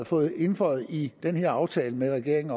fået indføjet i den her aftale med regeringen